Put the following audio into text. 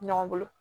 Ɲɔgɔn bolo